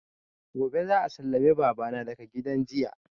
Gobe za a sallame baba daga gidan jiya